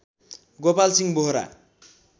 Gopal Singh Bohora